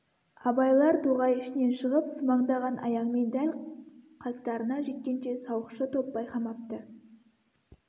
абайлар тоғай ішінен шығып сумаңдаған аяңмен дәл қастарына жеткенше сауықшы топ байқамапты